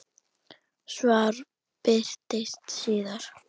Svar birtist síðar.